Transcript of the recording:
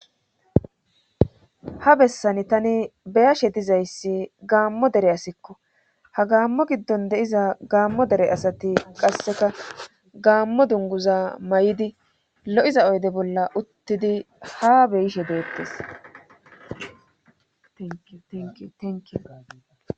ha bessani tani beyashe dizayssi gaammo dere asikko ha gaammo giddon de7iza gaammo dere asati qasseka gaammo dunguza may7idi lo7iza oyde bolla uttidi ha beyishe deettes tenk